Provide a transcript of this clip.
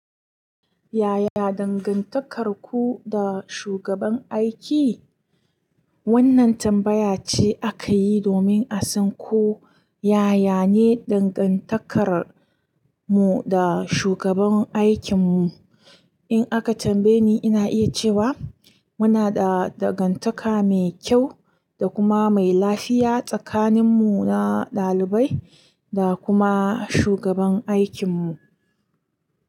Yaya dangantakarku da shugaban aiki? Wannan tambaya ce aka yi domin a san ko yaya ne dangantakar mu da shugaban aikin mu. In aka tambaye ni, ina iya cewa muna da dangantaka mai kyau da kuma mai lafiya tsakanin mu na ɗalibai da kuma shugaban aikin mu.